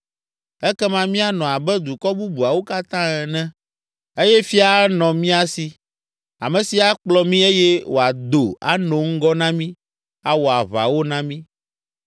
Ekema míanɔ abe dukɔ bubuawo katã ene eye fia anɔ mía si, ame si akplɔ mí eye wòado anɔ ŋgɔ na mí, awɔ aʋawo na mí.”